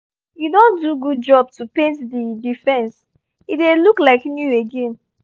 you don do good job to paint the the fence — e dey look like new again